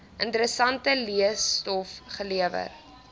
interessante leestof gelewer